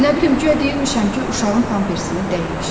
Nə bilim, guya deyirmişəm ki, uşağın pampersini dəyiş.